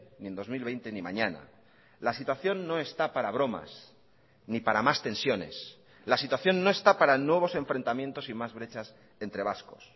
ni en dos mil veinte ni mañana la situación no está para bromas ni para más tensiones la situación no está para nuevos enfrentamientos y más brechas entre vascos